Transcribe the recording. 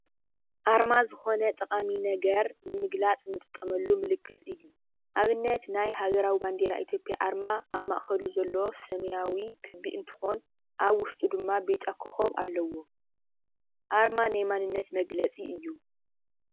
ኣርማ ዝኾነ ጠቃሚ ነገር ንምግላፅ እንጥቀመሉ ምልክት እዩ፡፡ ኣብነት ናይ ሃገረዊ ባንዴራ ኢትዮጵያ ኣርማ ኣብ ማእከሉ ዘለዎ ሰማያዊ ክቢ እንትኾን ኣብ ዉሽጡ ድማ ብጫ ኮኾብ ኣለዎ፡፡ ኣርማ ናይ መንነት መግለፂ እዩ፡፡